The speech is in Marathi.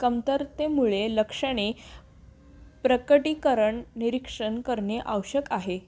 कमतरतेमुळे लक्षणे प्रकटीकरण निरीक्षण करणे आवश्यक आहे